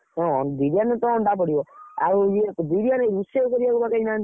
ହଉ ହଉ କା ତମ ସାତ, ତମ ଗାଁ ଛୁଆ କେତେ ଯିବ, କିଏ କିଏ?